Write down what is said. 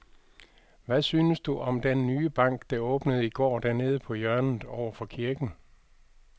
Hvad synes du om den nye bank, der åbnede i går dernede på hjørnet over for kirken?